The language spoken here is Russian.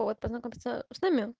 вот познакомится с нами